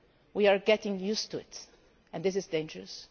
We are getting used to it, and this is dangerous.